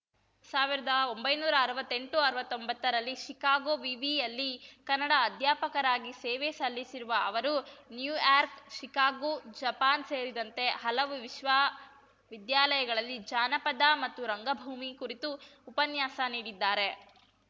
ಸಾವಿರ್ದಾ ಒಂಬೈನೂರಾ ಅರ್ವತ್ತೆಂಟುಅರ್ವತ್ತೊಂಬತ್ತರಲ್ಲಿ ಶಿಕಾಗೋ ವಿವಿಯಲ್ಲಿ ಕನ್ನಡ ಅಧ್ಯಾಪಕರಾಗಿ ಸೇವೆ ಸಲ್ಲಿಸಿರುವ ಅವರು ನ್ಯೂಯಾರ್ಕ್ ಶಿಕಾಗೋ ಜಪಾನ್‌ ಸೇರಿದಂತೆ ಹಲವು ವಿಶ್ವವಿದ್ಯಾಲಯಗಳಲ್ಲಿ ಜಾನಪದ ಮತ್ತು ರಂಗಭೂಮಿ ಕುರಿತು ಉಪನ್ಯಾಸ ನೀಡಿದ್ದಾರೆ